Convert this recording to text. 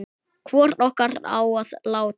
Hvor okkar á að láta